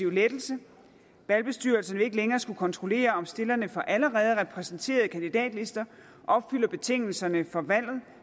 lettelse valgbestyrelserne vil ikke længere skulle kontrollere om stillerne for allerede repræsenterede kandidatlister opfylder betingelserne for valgret